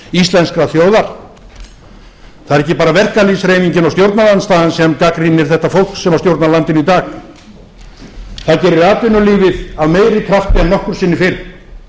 íslenskrar þjóðar það eru ekki bara verkalýðshreyfingin og stjórnarandstaðan sem gagnrýna þetta fólk sem stjórnar landinu í dag það gerir atvinnulífið af meiri krafti en nokkru sinni fyrr